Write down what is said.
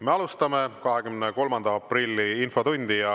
Me alustame 23. aprilli infotundi.